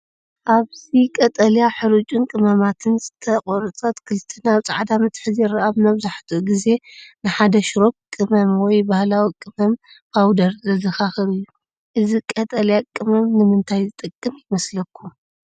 ኣብዚ ቀጠልያ ሕርጭ ቀመማትን ዝተቖርጸ ኣትክልትን ኣብ ጻዕዳ መትሓዚ ይርአ። እዚ መብዛሕትኡ ግዜ ንሓደ ሽሮፕ ቀመም ወይ ባህላዊ ቀመም ፓውደር ዘዘኻኽር እዩ። እዚ ቀጠልያ ቀመም ንምንታይ ዝጠቅም ይመስለኩም?